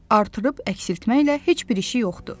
Artırıb əksiltməklə heç bir işi yoxdur.